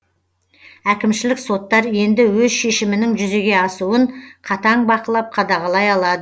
әкімшілік соттар енді өз шешімінің жүзеге асуын қатаң бақылап қадағалай алады